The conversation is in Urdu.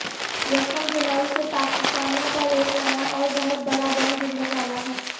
یکم جولائی سے پاکستانیوں پر ایک نیا اوربہت بڑا بم گرنے والا ہے